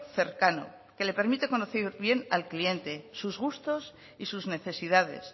cercano que le permite conocer bien al cliente sus gustos y sus necesidades